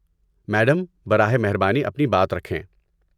Madam, براہ مہربانی اپنی بات رکھیں۔